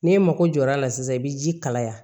N'e mako jɔ l'a la sisan i bɛ ji kalaya